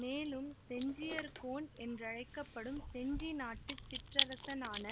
மேலும் செஞ்சியர்கோன் என்றழைக்க படும் செஞ்சி நாட்டு சிற்றரசனான